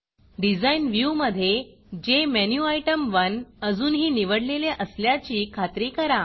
Designडिज़ाइन व्ह्यूमधे जेमेन्युटेम1 अजूनही निवडलेले असल्याची खात्री करा